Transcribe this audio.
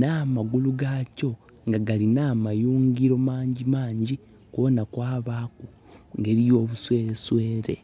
nha magulu ga kyo nga galina amayungiro magimangi kwona kwabaku obuswere swere.